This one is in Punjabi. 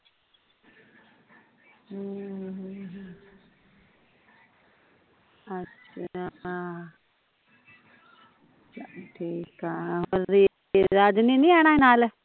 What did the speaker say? ਠੀਕ ਐ ਰਾਜ ਨੇ ਨੀ ਆਉਣਾ ਨਾਲ਼?